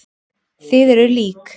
Þið eruð lík.